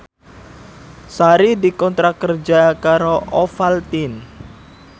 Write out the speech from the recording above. Sari dikontrak kerja karo Ovaltine